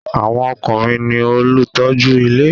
Àwọn ọkùnrin ní olùtọ́jú ilé